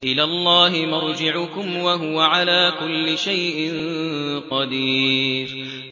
إِلَى اللَّهِ مَرْجِعُكُمْ ۖ وَهُوَ عَلَىٰ كُلِّ شَيْءٍ قَدِيرٌ